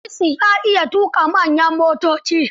Hamisu ya iya tuƙa manyan motoci.